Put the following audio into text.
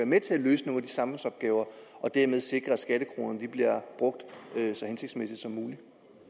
med til at løse nogle af samfundsopgaverne og dermed sikre at skattekronerne bliver brugt så hensigtsmæssigt